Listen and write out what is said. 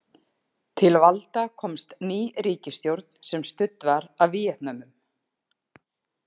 Til valda komst ný ríkisstjórn sem studd var af Víetnömum.